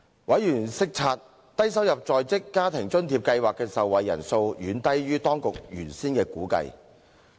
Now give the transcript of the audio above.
委員察悉低收入在職家庭津貼計劃的受惠人數遠低於當局原先的估計。